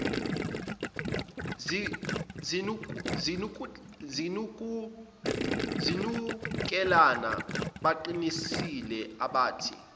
zinukelana baqinisile abathi